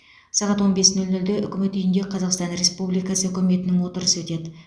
сағат он бес нөл нөлде үкімет үйінде қазақстан республикасы үкіметінің отырысы өтеді